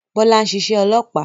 Bọ́lá n ṣiṣẹ́ olópàá